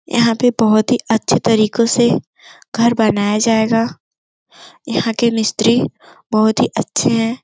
यहां पे बहुत ही अच्छे तरीकों से घर बनाया जाएगा यहां के मिस्त्री बहुत ही अच्छे हैं।